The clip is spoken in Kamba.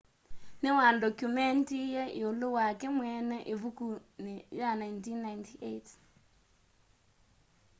niwandokyumendie iulu wake mweene ivukuni ya 1998